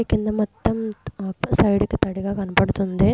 కింద మొత్తం ఆ సైడ్ కి తడిగా కనబడుతుంది.